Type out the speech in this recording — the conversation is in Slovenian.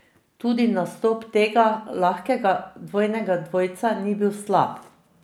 Tudi nastop tega lahkega dvojnega dvojca ni bil slab.